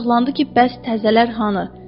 Acıqlandı ki, bəs təzələr hanı?